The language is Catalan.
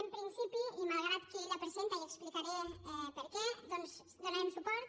en principi i malgrat qui la presenta i explicaré per què hi donarem suport